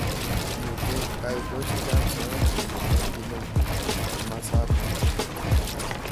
Mitei kaitoshek ab soet chemokotin eng kimosatak.